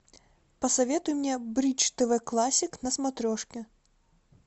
посоветуй мне бридж тв классик на смотрешке